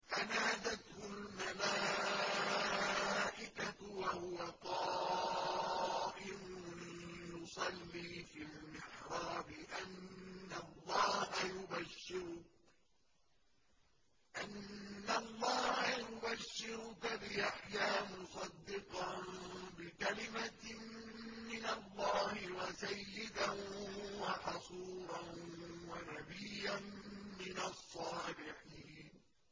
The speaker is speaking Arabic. فَنَادَتْهُ الْمَلَائِكَةُ وَهُوَ قَائِمٌ يُصَلِّي فِي الْمِحْرَابِ أَنَّ اللَّهَ يُبَشِّرُكَ بِيَحْيَىٰ مُصَدِّقًا بِكَلِمَةٍ مِّنَ اللَّهِ وَسَيِّدًا وَحَصُورًا وَنَبِيًّا مِّنَ الصَّالِحِينَ